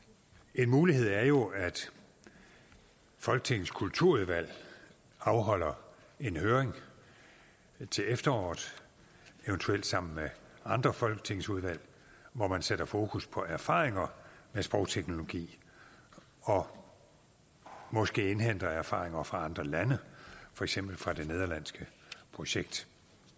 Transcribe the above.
en mulighed er jo at folketingets kulturudvalg afholder en høring til efteråret eventuelt sammen med andre folketingsudvalg hvor man sætter fokus på erfaringer med sprogteknologi og måske indhenter erfaringer fra andre lande for eksempel fra det nederlandske projekt